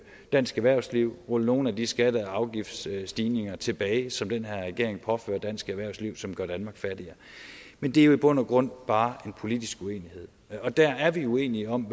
dansk erhvervsliv ved rulle nogle af de skatte og afgiftsstigninger tilbage som den her regering påfører dansk erhvervsliv og som gør danmark fattigere men det er jo i bund og grund bare en politisk uenighed der er vi uenige om